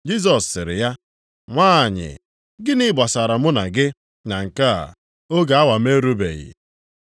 Jisọs sịrị ya, “Nwanyị, gịnị gbasara mụ na gị na nke a? Oge awa m erubeghị.”